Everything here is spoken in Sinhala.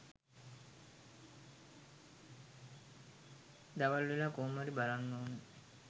දවල්වෙලා කොහොම හරි බලන්න ඕනෙ.